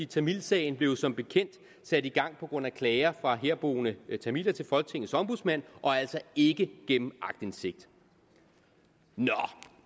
tamilsagen blev som bekendt sat i gang på grund af klager fra herboende tamiler til folketingets ombudsmand og altså ikke gennem aktindsigt nå